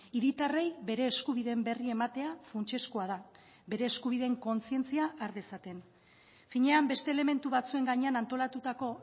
hiritarrei bere eskubideen berri ematea funtsezkoa da bere eskubideen kontzientzia har dezaten finean beste elementu batzuen gainean antolatutako